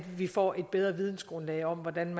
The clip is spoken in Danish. vi får et bedre vidensgrundlag om hvordan